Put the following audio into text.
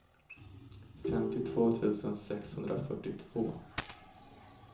femtiotvå tusen sexhundrafyrtiotvå